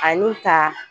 Ani ka